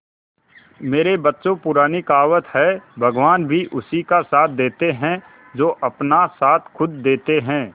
मेरे बच्चों पुरानी कहावत है भगवान भी उसी का साथ देते है जो अपना साथ खुद देते है